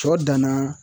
Sɔ danna